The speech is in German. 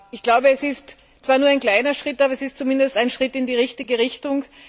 Ich glaube, es ist zwar nur ein kleiner Schritt, aber es ist zumindest ein Schritt in die richtige Richtung.